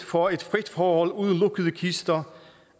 for et frit forhold uden lukkede kister